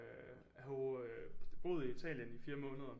Øh jeg har jo boet i Italien i 4 måneder